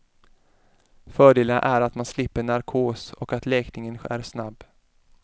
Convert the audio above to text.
Fördelarna är att man slipper narkos och att läkningen är snabb.